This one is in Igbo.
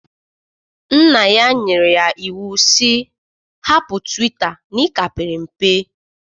Nna ya nyere ya iwu sị, hapụ twita na ị ka pere mpe!